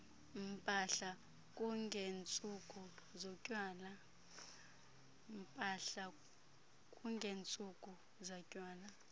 mpahla kungentsuku zatywala